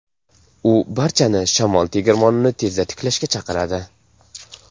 U barchani shamol tegirmonini tezda tiklashga chaqiradi.